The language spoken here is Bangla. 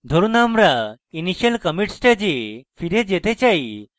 ধরুন আমরা initial commit stage ফিরে যেতে say